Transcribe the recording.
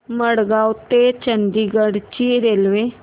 मडगाव ते चंडीगढ ची रेल्वे